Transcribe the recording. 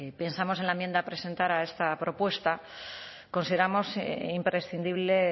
pensamos en la enmienda a presentar a esta propuesta consideramos imprescindible